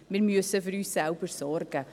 Wir müssen für uns selbst sorgen.